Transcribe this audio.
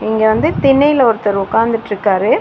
இங்க வந்து திண்ணையில ஒருத்தர் உக்காந்துட்ருக்காரு.